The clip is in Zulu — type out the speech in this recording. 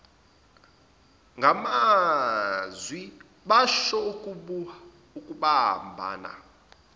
ngamazwi basho ukubambana